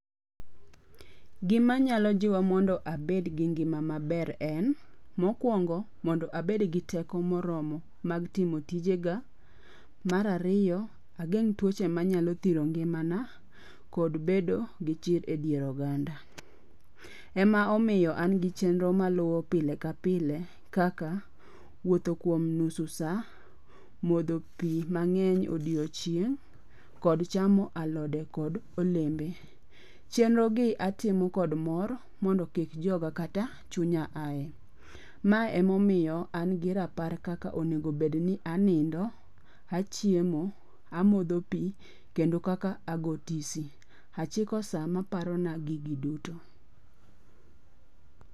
Gima nyalo jiwa mondo abedgi ngima maber en. Mokwongo mondo abedegi teko moromo mag timo tijega. Mar ariyo, ageng' tuoche manyalo thiro ngimana kod bedo gi chir e dier oganda. Ema omiyo an gi chenro maluwo pile ka pile kaka, wuotho kuom nusu sa, modho pi mang'eny odiochieng' kod chamo alode kod olembe. Chenro gi atimo kod mor mondo kik joga kata chunya ae. Mae emomiyo an gi rapar kaka onegobed ni anindo, achiemo, amodho pi kendo kaka ago tisi. Achiko sa maparona gigi duto.